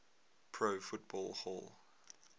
pro football hall